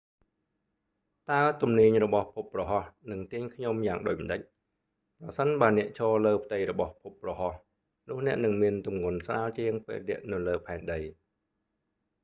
តើទំនាញរបស់ភពព្រហស្បតិ៍នឹងទាញខ្ញុំយ៉ាងដូចម្តេច ប្រសិនបើអ្នកឈរ លើផ្ទៃរបស់ភពព្រហស្បតិ៍ នោះអ្នកនឹងមានទម្ងន់ស្រាលជាងពេលអ្នកនៅលើផែនដី